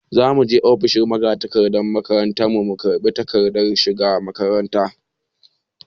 Za mu je ofishin magatakardar makaranta mu karɓi takardar shiga makaranta.